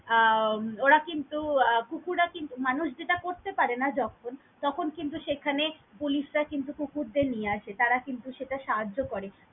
আহ ওরা কিন্তু আহ কুকুররা কিন্তু মানুষ যেটা করতে পারেনা যখন তখন কিন্তু সেখানে পুলিশরা কিন্তু কুকুরদের নিয়ে আসে তারা কিন্তু সেটা সাহায্য করে।